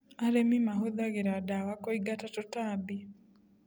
Arĩmi mahũthagĩra dawa kũingata tũtambi.